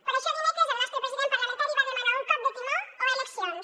per això dimecres el nostre president parlamentari va demanar un cop de timó o eleccions